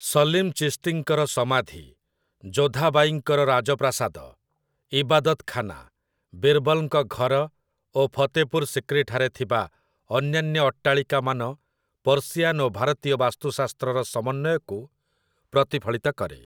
ସଲିମ୍ ଚିସ୍ତିଙ୍କର ସମାଧି, ଯୋଧା ବାଈଙ୍କର ରାଜପ୍ରାସାଦ, ଇବାଦତ୍ ଖାନା, ବିର୍‌ବଲ୍‌ଙ୍କ ଘର ଓ ଫତେପୁର୍ ସିକ୍ରିଠାରେ ଥିବା ଅନ୍ୟାନ୍ୟ ଅଟ୍ଟାଳିକାମାନ ପର୍ସିଆନ୍ ଓ ଭାରତୀୟ ବାସ୍ତୁ ଶାସ୍ତ୍ରର ସମନ୍ଵୟକୁ ପ୍ରତିଫଳିତ କରେ ।